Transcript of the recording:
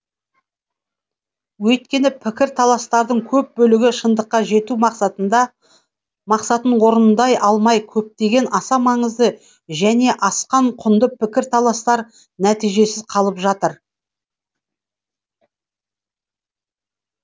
өйткені пікір таластардың көп бөлігі шындыққа жету мақсатын орындай алмай көптеген аса маңызды және асқан құнды пікір таластар нәтижесіз қалып жатыр